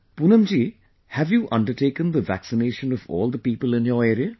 Poonam ji, have you undertaken the vaccination of all the people in your area